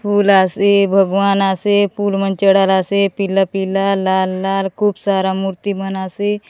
फूल आसे भगवान आसे फूल मन चढ़ाल आसे पीला-पीला लाल-लाल खूब सारा मूर्ति मन आसे।